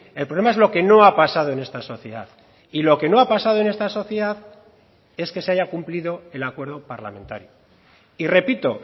el problema es lo que no ha pasado en esta sociedad y lo que no ha pasado en esta sociedad es que se haya cumplido el acuerdo parlamentario y repito